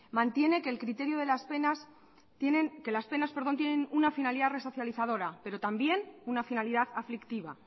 mantiene que las penas tienen una finalidad resocializadora pero también una finalidad aflictiva